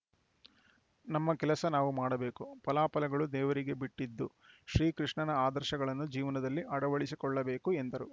ನಮ್ಮ ಕೆಲಸ ನಾವು ಮಾಡಬೇಕು ಫಲಾಫಲಗಳು ದೇವರಿಗೆ ಬಿಟ್ಟದ್ದು ಶ್ರೀಕೃಷ್ಣನ ಆದರ್ಶಗಳನ್ನು ಜೀವನದಲ್ಲಿ ಅಳವಡಿಸಿಕೊಳ್ಳಬೇಕು ಎಂದರು